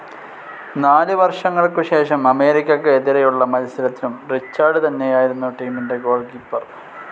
നാല് വർഷങ്ങൾക്കു ശേഷം അമേരിക്കക്ക് എതിരെയുള്ള മത്സരത്തിലും റിച്ചാർഡ് തന്നെയായിരുന്നു ടീമിൻ്റെ ഗോൾ കീപ്പർ.